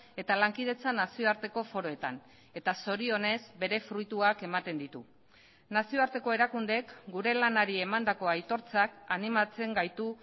eta lankidetza nazioarteko foroetan eta zorionez bere fruituak ematen ditu nazioarteko erakundeek gure lanari emandako aitortzak animatzen gaitu